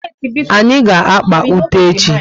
Anyị ga-akpà ute echi